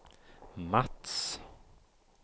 Mats